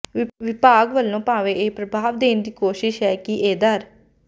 ਵਿਭਾਗ ਵੱਲੋਂ ਭਾਵੇਂ ਇਹ ਪ੍ਰਭਾਵ ਦੇਣ ਦੀ ਕੋਸ਼ਿਸ਼ ਹੈ ਕਿ ਇਹ ਦਰੱ